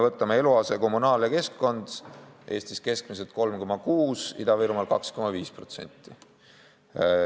Võtame eluaseme, kommunaalteenused ja keskkonna: Eestis keskmiselt 3,6%, Ida-Virumaal 2,5%.